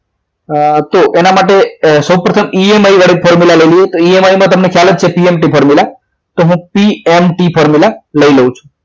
તો એના માટે સૌપ્રથમ EMI formula લઈ લઈએ EMI માં તમને ખ્યાલ જ છે PMT formula તો હું PMT લઈ લઉં છું